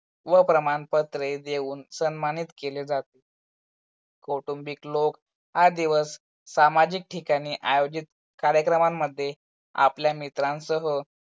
व प्रमाणपत्रे देऊन सम्मानित केल जाते. कौटुबिक लोक हा दिवस सामाजिक ठिकाणी आयोजित कार्यक्रमांमध्ये आपल्या मित्रांसह